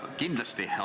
Kindlasti on.